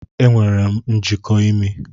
Enwere m njiko imi.